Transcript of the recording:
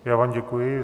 Já vám děkuji.